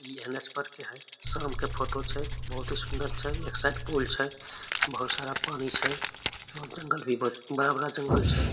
इ हेनस्पर के हेय शाम के फोटो छै बहुत ही सुन्दर छै एक साइड पूल छै बहुत सारा पानी छै और जंगल भी बहुत बड़ा बड़ा जंगल छै ।